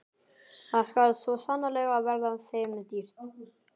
Það skal svo sannarlega verða þeim dýrt!